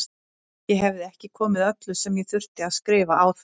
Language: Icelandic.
Ég hefði ekki komið öllu sem ég þurfti að skrifa á það.